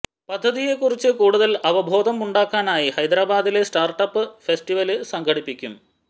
പദ്ധതിയെക്കുറിച്ച് കൂടുതല് അവബോധം ഉണ്ടാക്കാനായി ഹൈദരാബാദില് സ്റ്റാര്ട്ട് അപ് ഫെസറ്റിവല് സംഘടിപ്പിക്കും